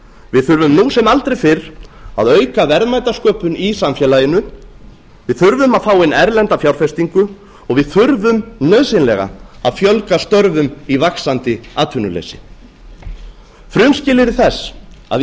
við þurfum nú sem aldrei fyrr að auka verðmætasköpun í samfélaginu við þurfum að fá inn erlenda fjárfestingu og við þurfum nauðsynlega að fjölga störfum í vaxandi atvinnuleysi frumskilyrði þess að